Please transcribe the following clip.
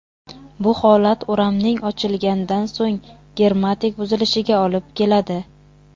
Bu holat o‘ramning ochilgandan so‘ng germetik buzilishiga olib keladi.